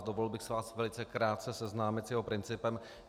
Dovolil bych si vás velice krátce seznámit s jeho principem.